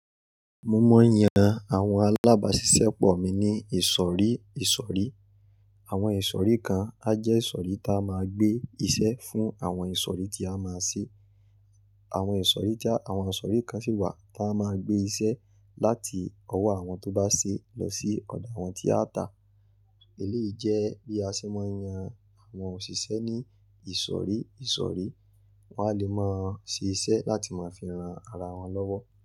Mo mọ̀ n yàn àwọn alábàáṣiṣẹ́ pọ̀ mi ní ìsọ̀rí ìsọ̀rí. Àwọn ìsọ̀rí kan a jẹ́ ìsọ̀rí ta máa gbé iṣẹ́ fún àwọn ìsọ̀rí tí a máa ṣe. Àwọn ìsọ̀rí tí àwọn ìsọ̀rí kan sì wà ta máa gbé iṣẹ́ láti ọwọ́ àwọn tó bá se lọ sí ọ̀dọ̀ àwọn tí a tà. Eléyìí jẹ́ bí a ṣe mọ ń yan àwọn òṣìṣẹ́ ní ìsọ̀rí ìsọ̀rí. Wọ́n a lè máa ṣe iṣẹ́ láti máa fi ran ara wọn lọ́wọ́